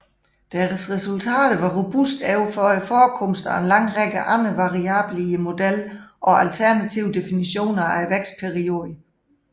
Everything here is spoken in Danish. Deres resultater var robuste over for forekomsten af en lang række andre variable i modellen og alternative definitioner af vækstperioder